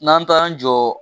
N'an taara an jɔ